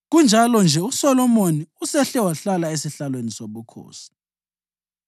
Kunjalo-nje uSolomoni usehle wahlala esihlalweni sobukhosi.